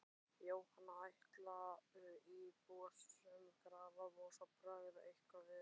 Jóhann: Ætla Íbúasamtök Grafarvogs að bregðast eitthvað við?